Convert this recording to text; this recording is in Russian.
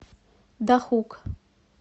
дахук